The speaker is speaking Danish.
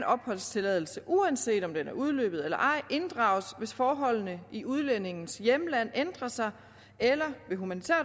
opholdstilladelse inddrages uanset om den er udløbet eller ej hvis forholdene i udlændingens hjemland ændrer sig eller ved humanitær